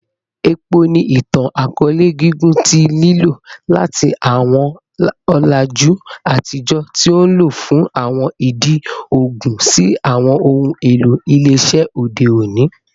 Epo ni itan-akọọlẹ gigun ti lilo, lati awọn ọlaju atijọ ti o nlo fun awọn idi oogun si awọn ohun elo ile-iṣẹ ode oni.